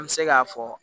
An bɛ se k'a fɔ